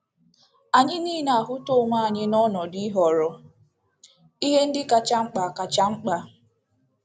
Anyị niile ahụta onwe anyị n'ọnọdụ ịhọrọ ihe ndị kacha mkpa kacha mkpa.